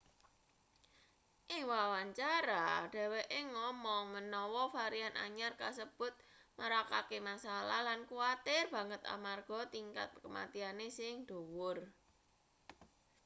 ing wawancara dheweke ngomong menawa varian anyar kasebut marakake masalah lan kuwatir banget amarga tingkat kematiane sing dhuwur